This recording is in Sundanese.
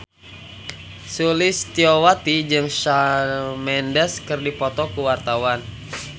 Sulistyowati jeung Shawn Mendes keur dipoto ku wartawan